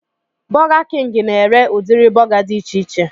Burger king na-ere udiri buga dị icheiche